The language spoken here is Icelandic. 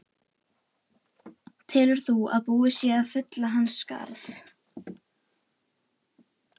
Telur þú að búið sé að fylla hans skarð?